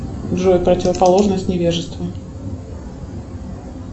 джой противоположность невежества